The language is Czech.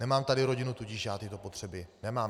Nemám tady rodinu, tudíž já tyto potřeby nemám.